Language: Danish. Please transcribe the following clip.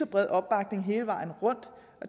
bred opbakning hele vejen rundt